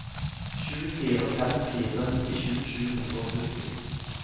sju fire fem fire nittisju sju hundre og sytti